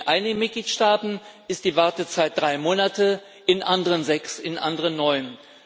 In einigen Mitgliedstaaten ist die Wartezeit drei Monate, in anderen sechs, in anderen neun.